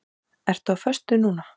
Ertu á föstu núna?